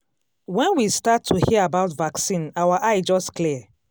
when we start to hear about vaccine our eye just clear.